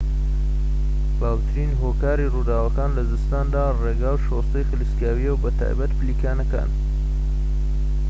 باوترین هۆکاری رووداوەکان لە زستاندا رێگا و شۆستەی خلیسکاویە و بەتایبەتی پلیکانەکان